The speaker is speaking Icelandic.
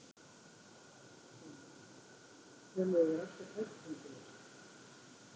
Heimir: Töluðu þeir alltaf tæpitungulaust?